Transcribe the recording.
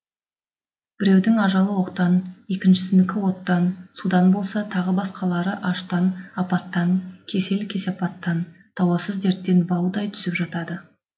біреудің ажалы оқтан екіншісінікі оттан судан болса тағы басқалары аштан апаттан кесел кесапаттан дауасыз дерттен баудай түсіп жатады